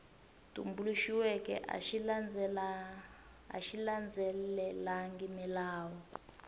tumbuluxiweke a xi landzelelangi milawu